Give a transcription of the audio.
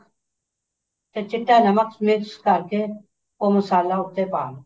ਤੇ ਚਿੱਟਾ ਨਮਕ mix ਕਰਕੇ ਉਹ ਮਸਾਲਾ ਉੱਤੇ ਆ ਦੋ